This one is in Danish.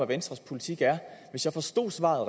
venstres politik er hvis jeg forstod svaret